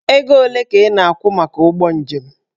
Ego ole ka ị na-akwụ maka ụgbọ njem?